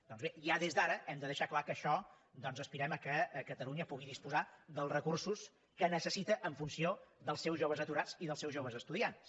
doncs bé ja des d’ara hem de deixar que en això doncs aspirem que catalunya pugui disposar dels recursos que necessita en funció dels seus joves aturats i dels seus joves estudiants